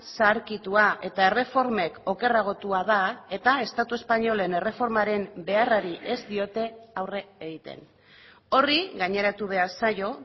zaharkitua eta erreformek okerragotua da eta estatu espainolen erreformaren beharrari ez diote aurre egiten horri gaineratu behar zaio